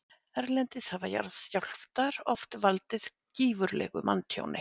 Erlendis hafa jarðskjálftar oft valdið gífurlegu manntjóni.